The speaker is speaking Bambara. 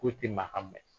Foyi tɛ maa mɛn